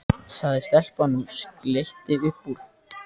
sagði stelpan og skellti upp úr.